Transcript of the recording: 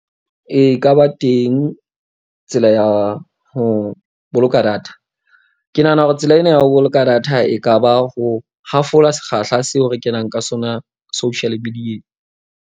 E ka ba teng tsela ya ho boloka data. Ke nahana hore tsela ena ya ho boloka data e ka ba ho hafola sekgahla seo re kenang ka sona social media-ng.